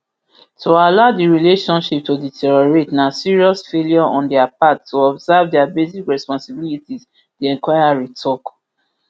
to allow di relationship to deteriorate na serious failure on dia part to observe dia basic responsibilities di inquiry tok